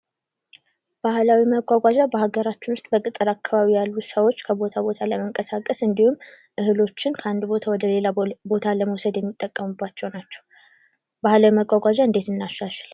ባህላዊ መጎጃ በሀገራችን ውስጥ በገጠር አካባቢ አካባቢ ያሉ ሰዎች ከቦታ ቦታ ለመንቀሳቀስ እንዲሁም እህሎችን ከአንድ ቦታ ወደሌላ ቦታ ለመውሰድ የሚጠቀሙባቸው ናቸው። ባህላዊ መጓጓዝ እንዴት እናሻሽል?